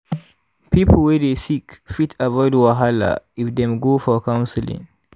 people wey dey sick fit avoid wahala if dem go for counseling.